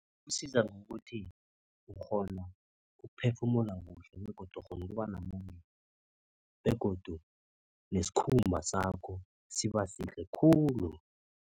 Isiza ngokuthi, ukghona ukuphefumula kuhle begodu ukghona ukuba namandla begodu nesikhumba sakho siba sihle khulu.